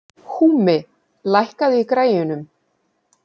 Húmi, lækkaðu í græjunum.